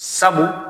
Sabu